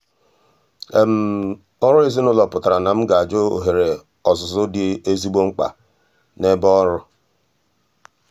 ọrụ ezinụlọ pụtara na m ga-ajụ ohere ọzụzụ dị ezigbo mkpa n'ebe ọrụ.